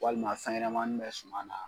Walima fɛnɲanamanin bɛ suma na.